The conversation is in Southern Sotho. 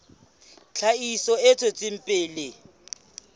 tlhahiso e tswetseng pele ya